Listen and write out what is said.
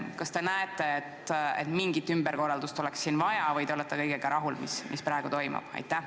Kas te näete, et mingit ümberkorraldust oleks siin vaja või te olete kõigega rahul, mis praegu toimub?